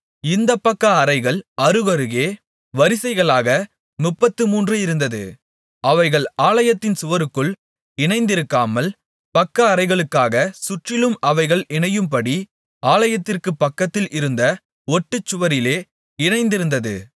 இந்தப் பக்கஅறைகள் அருகருகே வரிசைகளாக முப்பத்துமூன்று இருந்தது அவைகள் ஆலயத்தின் சுவருக்குள் இணைந்திருக்காமல் பக்கஅறைகளுக்காகச் சுற்றிலும் அவைகள் இணையும்படி ஆலயத்திற்கு பக்கத்தில் இருந்த ஒட்டுச்சுவரிலே இணைந்திருந்தது